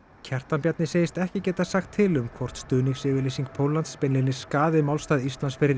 Kjartan Bjarni segist ekki geta sagt til um hvort stuðningsyfirlýsing Póllands beinlínis skaði málstað Íslands fyrir